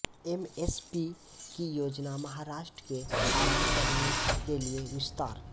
MSP की योजना महाराष्ट्र के आराम करने के लिए विस्तार